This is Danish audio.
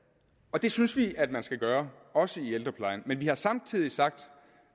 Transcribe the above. det synes vi at man skal gøre også i ældreplejen men vi har samtidig sagt